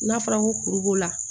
N'a fɔra ko kuru b'o la